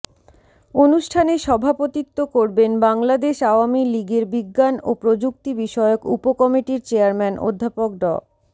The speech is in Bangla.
অনুষ্ঠানে সভাপতিত্ব করবেন বাংলাদেশ আওয়ামী লীগের বিজ্ঞান ও প্রযুক্তিবিষয়ক উপকমিটির চেয়ারম্যান অধ্যাপক ড